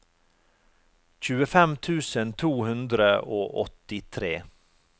tjuefem tusen to hundre og åttitre